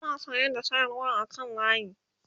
ana saya da sayarwa a kan layi